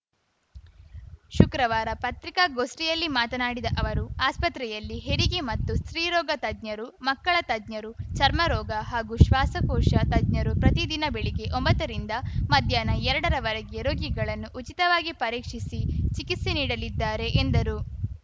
ಶುಕ್ರವಾರ ಪತ್ರಿಕಾಗೋಷ್ಠಿಯಲ್ಲಿ ಮಾತನಾಡಿದ ಅವರು ಆಸ್ಪತ್ರೆಯಲ್ಲಿ ಹೆರಿಗೆ ಮತ್ತು ಸ್ತ್ರೀ ರೋಗ ತಜ್ಞರು ಮಕ್ಕಳ ತಜ್ಞರು ಚರ್ಮರೋಗ ಹಾಗೂ ಶ್ವಾಸಕೋಶ ತಜ್ಞರು ಪ್ರತಿದಿನ ಬೆಳಿಗ್ಗೆ ಒಂಬತ್ತರಿಂದ ಮಧ್ಯಾಹ್ನ ಎರಡ ರವರೆಗೆ ರೋಗಿಗಳನ್ನು ಉಚಿತವಾಗಿ ಪರೀಕ್ಷಿಸಿ ಚಿಕಿತ್ಸೆ ನೀಡಲಿದ್ದಾರೆ ಎಂದರು